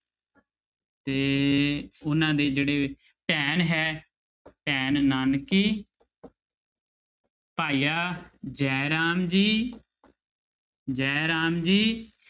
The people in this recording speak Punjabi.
ਤੇ ਉਹਨਾਂ ਦੇ ਜਿਹੜੇ ਭੈਣ ਹੈ ਭੈਣ ਨਾਨਕੀ ਭਾਈਆ ਜੈ ਰਾਮ ਜੀ ਜੈ ਰਾਮ ਜੀ